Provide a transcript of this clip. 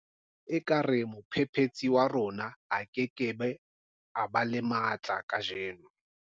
Ekare mophephetsi wa rona a ke ke ba le matla kajeno.